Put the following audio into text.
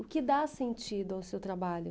O que dá sentido ao seu trabalho?